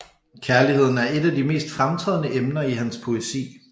Kærligheden er et af de mest fremtrædende emner i hans poesi